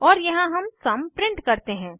और यहाँ हम सुम सम प्रिंट करते हैं